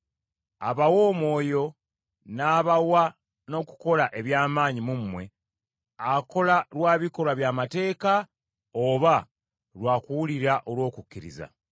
Abawa Omwoyo n’abawa n’okukola eby’amaanyi mu mmwe, akola lwa bikolwa by’amateeka oba lwa kuwulira olw’okukkiriza?